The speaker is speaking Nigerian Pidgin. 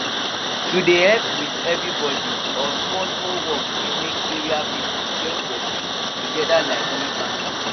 to dey help with everyday or small small work fit make area people join body together like real family